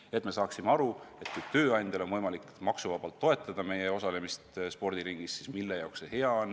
Ka peame aru saama, mille jaoks on hea, kui tööandjal on võimalik maksuvabalt toetada meie osalemist spordiringis.